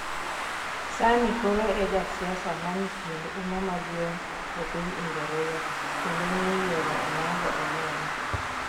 sani koro e ja siasa manikod uma maduong' e piny Ingreza kendo ni yiero oyango e lela